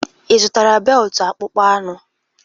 Ị zụtara beltụ akpụkpọ anụ?